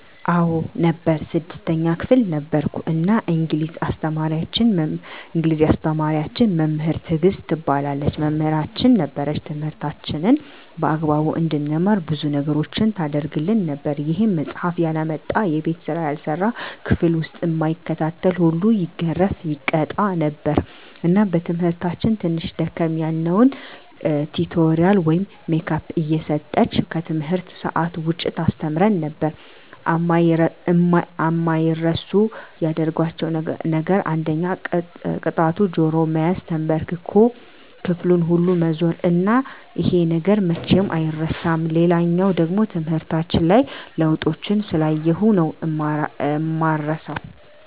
አዎ ነበር 6ተኛ ክፍል ነበርኩ እና እንግሊዝ አስተማሪያችን መምህር ትግስት ትባላለች መምህራችን ነበረች ትምህርታችንን በአግባቡ እንድንማር ብዙ ነገሮችን ታረግልን ነበር ይሄም መፃሐፍ ያላመጣ፣ የቤት ስራ ያልሰራ፣ ክፍል ዉስጥ እማይከታተል ሁሉ ይገረፍ( ይቀጣ ) ነበር እና በትምህርታችን ትንሽ ደከም ያልነዉን ቲቶሪያል ወይም ሜካፕ እየጠራች ከትምህርት ሰአት ዉጭ ታስተምረን ነበር። አማይረሱ ያደረጋቸዉ ነገር አንደኛ ቅጣቱ ጆሮ መያዝ፣ ተንበርክኮ ክፍሉን ሁሉ መዞር እና ይሄ ነገር መቼም አይረሳም። ሌላኛዉ ደሞ ትምህርታችን ላይ ለዉጦችን ስላየሁ ነዉ እማረሳዉ።